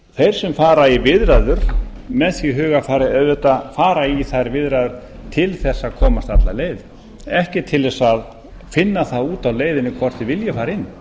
þeir sem fara í viðræður með því hugarfari auðvitað fara í þær viðræður til þess að komast alla leið ekki til þess að finna það út á leiðinni hvort þeir vilji fara inn